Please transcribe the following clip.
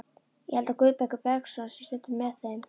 Ég held að Guðbergur Bergsson sé stundum með þeim.